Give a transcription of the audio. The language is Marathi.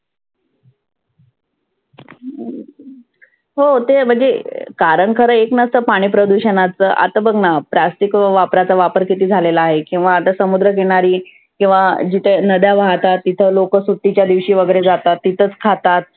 हो ते म्हणजे कारण खरं एक नसतं पाणि प्रदुषनाचं. आता बघना plastic वापाराचा वापर किती झालेला आहे. किंवा आता समुद्र किनारी किंवा जिथे नद्या वाहतात. तिथं लोक सुट्टीच्या दिवशी वगैरे जातात तिथंच खातात.